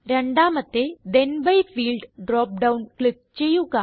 രണ്ടാമത്തെ then B field drop down click ചെയ്യുക